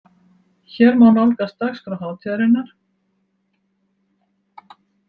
Hér má nálgast dagskrá hátíðarinnar